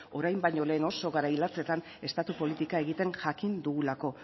orain baina lehen oso garai latzetan estatu politika egiten jakin dugulako